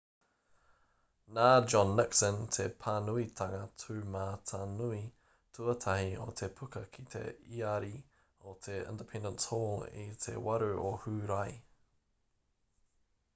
nā john nixon te pānuitanga tūmatanui tuatahi o te puka ki te iari o te independence hall i te 8 o hūrae